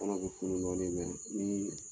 Kɔɔnɔn bɛ funu dɔɔnin mɛ ni